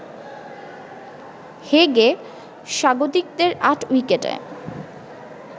হেগে স্বাগতিকদের ৮ উইকেটে